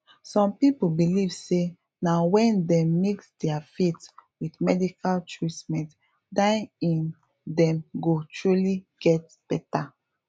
some people believe say na when dem mix dia faith with medical treatment na im dem go truly get beta